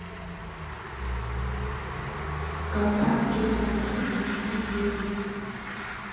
контакт тетя надя внести деньги